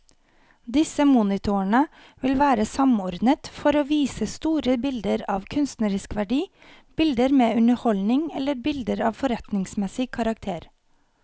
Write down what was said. Disse monitorene vil være samordnet for å vise store bilder av kunstnerisk verdi, bilder med underholdning eller bilder av forretningsmessig karakter.